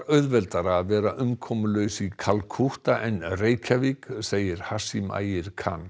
auðveldara að vera umkomulaus í Kalkútta en í Reykjavík segir Ægir